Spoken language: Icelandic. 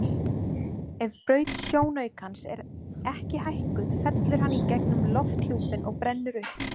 Ef braut sjónaukans er ekki hækkuð fellur hann í gegnum lofthjúpinn og brennur upp.